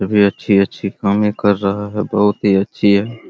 अभी अच्छी-अच्छी कामे कर रहा है बहुत ही अच्छी है ।